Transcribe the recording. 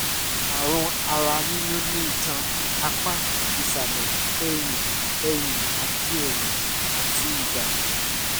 ààrùn ara yíyún ní itan apá ìsàlẹ̀ ẹ̀yìn ẹ̀yìn àti ẹ̀yìn àti ìbàdí